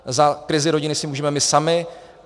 Za krizi rodiny si můžeme my sami.